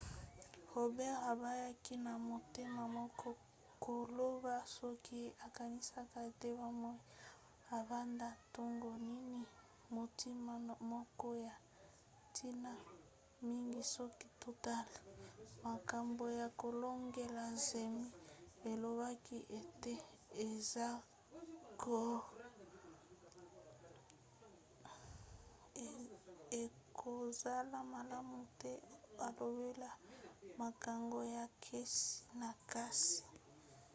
roberts aboyaki na motema moko koloba soki ye akanisaka ete bomoi ebanda ntango nini motuna moko ya ntina mingi soki totali makambo ya kolongola zemi alobaki ete ekozala malamu te alobela makambo ya kesi na kesi